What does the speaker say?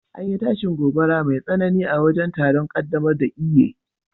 an yi tashin gobara mai tsanani a wajen taron kaddamar da Eiye